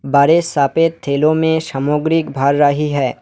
बड़े सफेद ढेलो में सामग्री भर रही है।